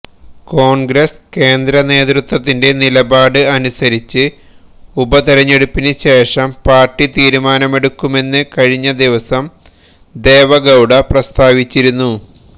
കോൺഗ്രസ് കേന്ദ്രനേതൃത്വത്തിന്റെ നിലപാട് അനുസരിച്ച് ഉപതിരഞ്ഞെടുപ്പിന് ശേഷം പാർട്ടി തീരുമാനമെടുക്കുമെന്ന് കഴിഞ്ഞ ദിവസം ദേവഗൌഡ പ്രസ്താവിച്ചിരുന്നു